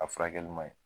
A furakɛli man ɲi